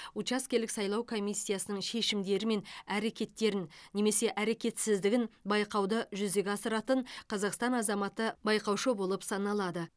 учаскелік сайлау комиссиясының шешімдері мен әрекеттерін немесе әрекетсіздігін байқауды жүзеге асыратын қазақстан азаматы байқаушы болып саналады